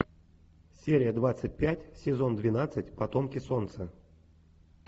серия двадцать пять сезон двенадцать потомки солнца